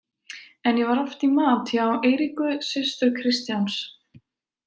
En ég var oft í mat hjá Eiríku systur Kristjáns.